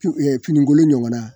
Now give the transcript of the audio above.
Fi fininkolon ɲɔgɔnna